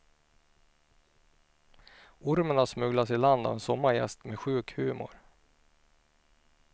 Ormen har smugglats i land av en sommargäst med sjuk humor.